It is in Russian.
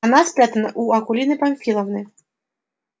она спрятана у акулины памфиловны